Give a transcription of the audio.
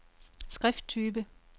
skrifttype